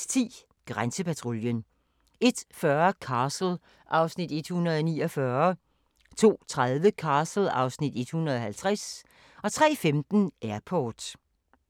01:10: Grænsepatruljen 01:40: Castle (Afs. 149) 02:30: Castle (Afs. 150) 03:15: Airport